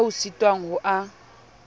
ao o sitwang ho a